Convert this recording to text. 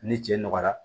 Ni cɛ nɔgɔyara